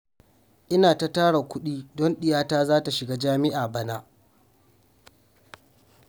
Ina ta tara kuɗi don ɗiya ta za ta shiga jami'a bana